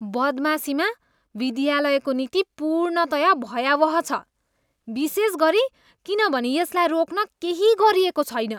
बदमाशीमा विद्यालयको नीति पूर्णतया भयावह छ विशेष गरी किनभने यसलाई रोक्न केही गरिएको छैन।